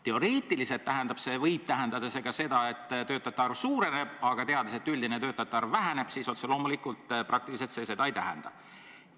Teoreetiliselt võib see tähendada ka seda, et töötajate arv suureneb, aga teades, et üldine töötajate arv väheneb, siis otse loomulikult praktiliselt see seda ei tähenda.